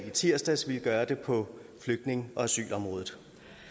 i tirsdags ville gøre det på flygtninge og asylområdet